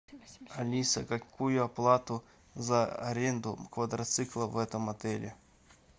алиса какую оплату за аренду квадроцикла в этом отеле